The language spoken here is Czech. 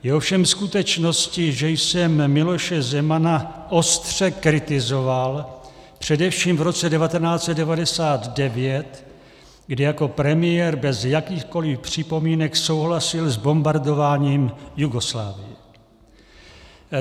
Je ovšem skutečností, že jsem Miloše Zemana ostře kritizoval, především v roce 1999, kdy jako premiér bez jakýchkoliv připomínek souhlasil s bombardováním Jugoslávie.